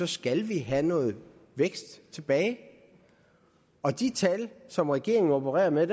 skal vi have noget vækst tilbage og de tal som regeringen opererer med